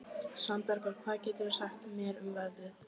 Svanbergur, hvað geturðu sagt mér um veðrið?